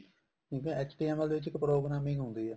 HTML ਦੇ ਵਿੱਚ ਇੱਕ programming ਹੁੰਦੀ ਹੈ